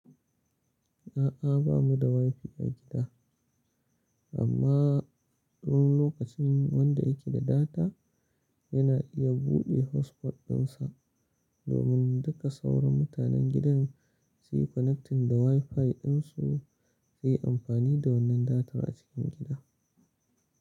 A'a, ba mu da Wi-Fi a gida, amma don lokacin wanda yake da data yana iya buɗe hotspot ɗinsa domin duka sauran mutanen gidan su yi connecting da Wi-Fi ɗinsu su yi amfani da wannan data a cikin gida.